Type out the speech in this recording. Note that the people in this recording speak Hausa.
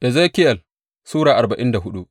Ezekiyel Sura arba'in da hudu